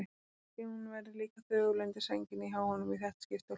Kannski hún verði líka þögul undir sænginni hjá honum í þetta skipti og hlusti.